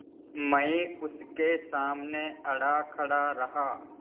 मैं उसके सामने अड़ा खड़ा रहा